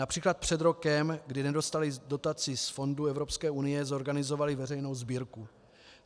Například před rokem, kdy nedostali dotaci z fondů Evropské unie, zorganizovali veřejnou sbírku.